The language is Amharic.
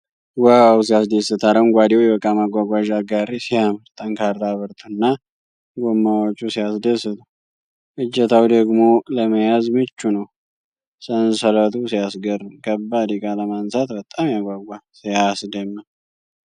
ዋው! ሲያስደስት! አረንጓዴው የእቃ ማጓጓዣ ጋሪ ሲያምር! ጠንካራ ብረቱና ጎማዎቹ ሲያስደስቱ! እጀታው ደግሞ ለመያዝ ምቹ ነው። ሰንሰለቱ ሲያስገርም! ከባድ ዕቃ ለማንሳት በጣም ያጓጓል። ሲያስደምም!